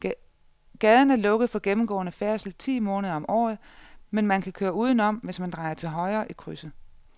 Gaden er lukket for gennemgående færdsel ti måneder om året, men man kan køre udenom, hvis man drejer til højre i krydset.